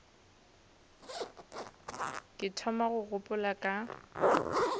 ke thoma go gopola ka